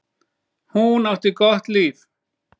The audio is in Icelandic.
Hún átti gott líf.